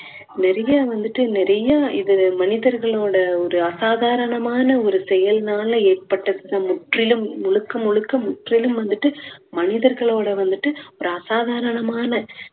நிறைய வந்துட்டு நிறைய இது மனிதர்களோட ஒரு அசாதாரணமான ஒரு செயல்னால ஏற்பட்ட முற்றிலும் முழுக்க முழுக்க முற்றிலும் வந்துட்டு மனிதர்களோட வந்துட்டு ஒரு அசாதாரணமான